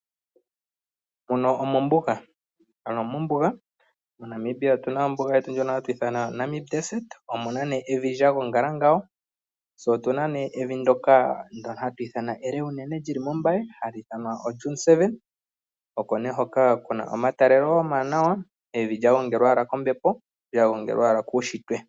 Muno omombuga. Ano mombuga moNamibia otuna ombuga yetu ndjono hatu ithana Namib Desert. Omuna nee evi ndyoka lya gongala ngawo. Tse otuna nee evi ndyoka hatu ithana ele unene lyi li mo Mbaye hali ithanwa oDune 7. Oko nee hoka kuna omatalelo omawanawa. Evi lya gongelwa kombepo lya gongelwa owala kuunshitwe.